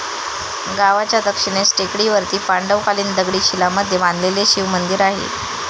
गावाच्या दक्षिणेस टेकडीवरती पांडवकालिन दगडी शिलांमध्ये बांधलेले शिवमंदिर आहे.